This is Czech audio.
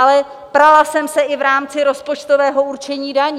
Ale prala jsem se i v rámci rozpočtového určení daní.